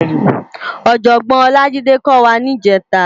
Òjòbòn Olajide kò wá nijètá